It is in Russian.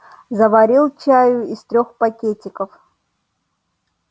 заварил чаю из трёх пакетиков